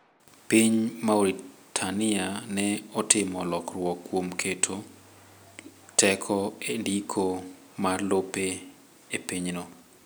Piny Mauritania ne otimo lokruok kuom keto teko e ndiko mar lope e pinyno.